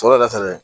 Sɔrɔ ka fɛnɛ